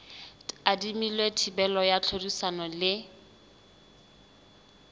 tadimilwe thibelo ya tlhodisano le